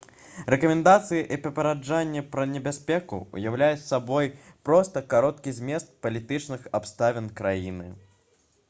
рэкамендацыі і папярэджанні пра небяспеку ўяўляюць сабой проста кароткі змест палітычных абставін краіны